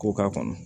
K'o k'a kɔnɔ